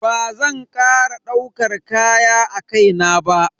Bazan kara daukar kaya a kai na ba.